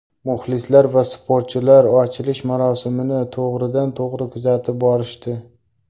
Muxlislar va sportchilar ochilish marosimini to‘g‘ridan to‘g‘ri kuzatib borishdi.